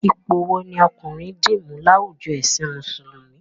Ipò wo ni ọkùnrin dì mú láwùjo ẹ̀sìn Mùsùlùmí?